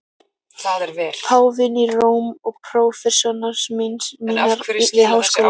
Páfinn í Róm og prófessorar mínir við Háskóla